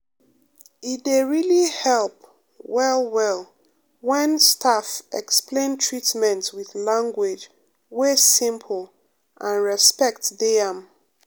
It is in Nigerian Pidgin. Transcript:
e dey really help um well well when staff um explain treatment with language wey um simple and respect dey am.